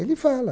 Ele fala.